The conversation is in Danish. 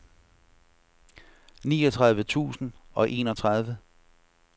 niogtredive tusind og enogtredive